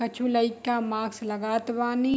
कछु लईका मास्क लगात वानी।